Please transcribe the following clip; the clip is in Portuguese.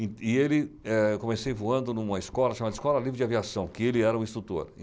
E ele, eh, eu comecei voando numa escola chamada Escola Livre de Aviação, que ele era o instrutor.